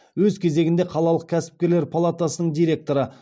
өз кезегінде қалалық кәсіпкерлер палатасының директоры